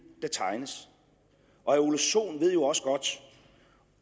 der tegnes herre ole sohn ved jo også godt